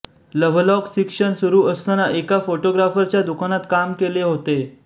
Lovelock शिक्षण सुरू असताना एका फोटोग्राफरच्या दुकानात काम केले होते